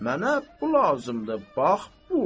Mənə bu lazımdır, bax bu.